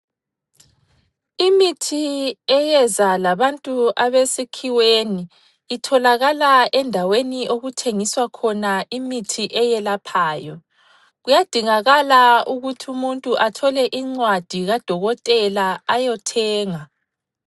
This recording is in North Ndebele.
Imithi eyeza labantu abesikhiweni itholakala endaweni okuthengiswa khona imithi eyelaphayo. Kuyadingakala ukuthi umuntu athole incwadi kadokotela ayothenga.